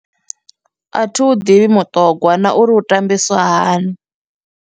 A thi u ḓivhi muṱogwa na uri u tambiswa hani.